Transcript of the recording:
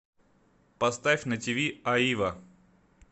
поставь на тиви аива